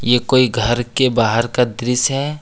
ये कोई घर के बाहर का दृश्य है।